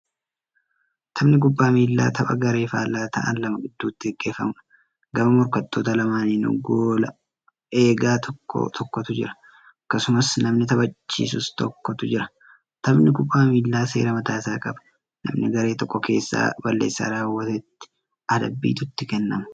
Taphni kubbaa miillaa tapha garee faallaa ta'an lama gidduutti gaggeeffamuudha. Gama morkattoota lamaaninuu goola egaa tokko tokkotu jira. Akkasumas namni taphachisus tokkotu jira. Taphni kubbaa miillaa seera mataa isaa qaba. Namna garee tokko keessaa balleessaa raawwatetti adabbiitu itti kennamu.